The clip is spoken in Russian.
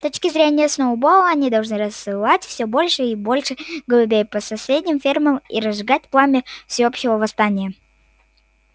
с точки зрения сноуболла они должны рассылать всё больше и больше голубей по соседним фермам и разжигать пламя всеобщего восстания